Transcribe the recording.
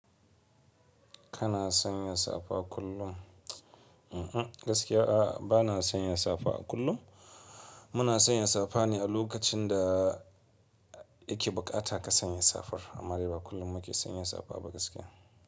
Kana sanya safa kullum? Mm-mm, gaskiya a'a bana sanya safa kullum. Muna sanya safa ne a lokacin da yake buƙata ka sanya safar. Amma dai ba kullum muke sanya safa ba gaskiya.